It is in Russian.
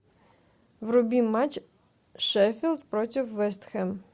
вруби матч шеффилд против вест хэм